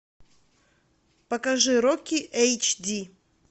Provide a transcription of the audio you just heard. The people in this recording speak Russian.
покажи рокки эйч ди